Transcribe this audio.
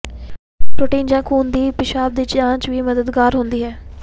protein ਜਾਂ ਖੂਨ ਲਈ ਪਿਸ਼ਾਬ ਦੀ ਜਾਂਚ ਵੀ ਮਦਦਗਾਰ ਹੁੰਦੀ ਹੈ